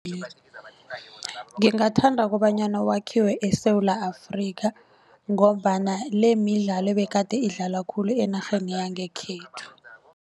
Ngingathanda kobanyana wakhiwe eSewula Afrika ngombana le midlalo ebegade idlalwa khulu enarheni yangekhethu.